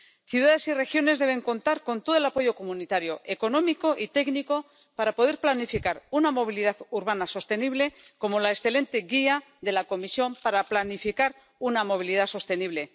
Ciudades y regiones deben contar con todo el apoyo comunitario, económico y técnico, para poder planificar una movilidad urbana sostenible, como la excelente guía de la Comisión para planificar una movilidad sostenible.